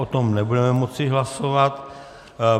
O tom nebudeme moci hlasovat.